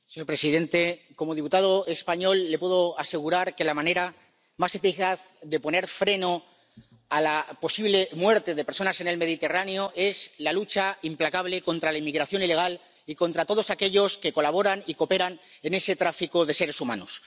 Señor presidente, como diputado español, le puedo asegurar que la manera más eficaz de poner freno a la posible muerte de personas en el Mediterráneo es la lucha implacable contra la inmigración ilegal y contra todos aquellos que colaboran y cooperan en ese tráfico de seres humanos.